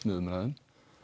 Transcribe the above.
með umræðum